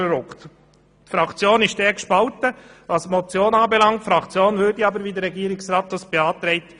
Die Fraktion ist somit bezüglich der Motion gespalten, ein Postulat würde sie jedoch überweisen.